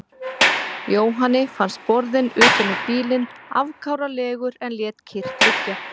Jóhanni fannst borðinn utan um bílinn afkáralegur en lét kyrrt liggja.